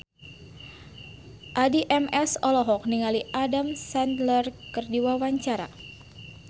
Addie MS olohok ningali Adam Sandler keur diwawancara